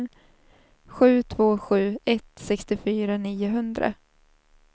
sju två sju ett sextiofyra niohundra